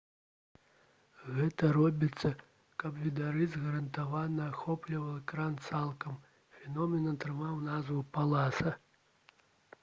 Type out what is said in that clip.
гэта робіцца каб відарыс гарантавана ахопліваў экран цалкам. фенамен атрымаў назву «паласа»